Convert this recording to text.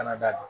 Kana da don